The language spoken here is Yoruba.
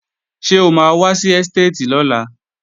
Ṣé o máa wá sí ẹ́stéètì lọ́la?